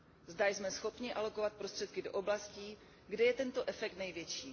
Zda jsme schopni alokovat prostředky do oblastí, kde je tento efekt největší.